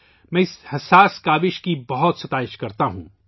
میں اس حساس کوشش کی بہت ستائش کرتا ہوں